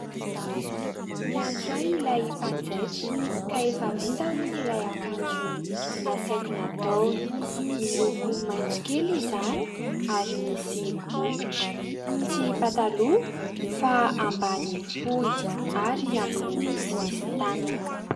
Miantso ahy ilay mpanjaitra, ka efa vita hono ilay akanjo nasaiko nataony. Miloko maitso kely izany, ary misy bokotra. Tsy pataloha fa ambany fohy, ary ambony tsy misy tanana.